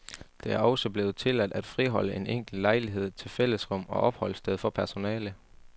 Det er også blevet tilladt at friholde en enkelt lejlighed til fællesrum og opholdssted for personale.